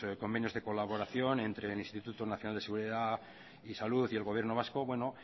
convenios de colaboración entre el instituto nacional de seguridad y salud y el gobierno vasco bueno